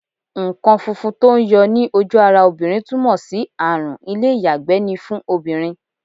Nǹkan funfun tó ń yọ ní ojú ara obìnrin túmọ̀ sí àrùn ilé-iyagbe ni fún obìnrin.